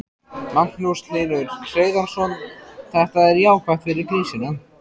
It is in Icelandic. Magnús Hlynur Hreiðarsson: Þetta er jákvætt fyrir grísina?